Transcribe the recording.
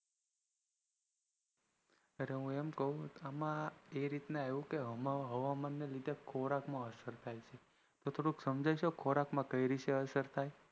અરે હું એમ કહું કે હવામાન ના લીધે ખોરાક માં અસર થાય તો સમજાવશો ખોરાક માં કઈ રીતે અસર થાય